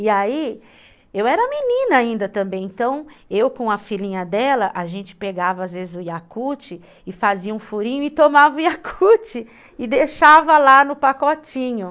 E aí, eu era menina ainda também, então eu com a filhinha dela, a gente pegava às vezes o Yakult e fazia um furinho e tomava o Yakult e deixava lá no pacotinho.